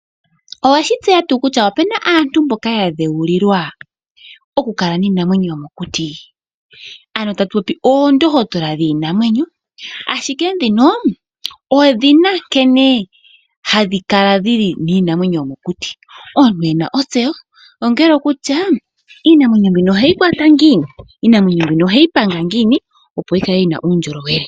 Oweshi tseya tuu kutya opuna aantu mboka ya dheulilwa okukala niinamwenyo yomokuti? Ano tatu popi oondohotola dhiinamwenyo, ashike ndhino odhina nkene dhili hadhi kala niinamwenyo yomokuti. Omuntu ena kutya iinamwenyo mbino oheyi kwata ngiini? Oheyi panga ngiini opo yi kale yi na uundjolowele?